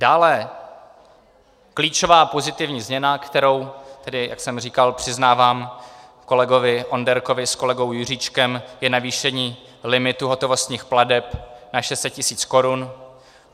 Dále klíčová pozitivní změna, kterou tedy, jak jsem říkal, přiznávám kolegovi Onderkovi s kolegou Juříčkem, je navýšení limitu hotovostních plateb na 600 tisíc korun.